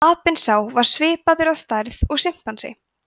apinn sá var svipaður að stærð og simpansi